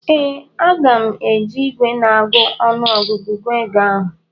ee, Aga m eji igwe na-agụ ọnụgụ gụọ ego ahụ